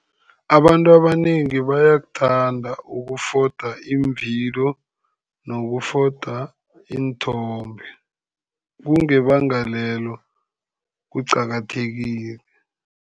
Abantu abanengi bayakuthanda ukufoda iimvidiyo, nokufoda iinthombe. Kungebanga lelo kuqakathekile.